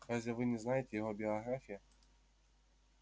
разве вы не знаете его биографии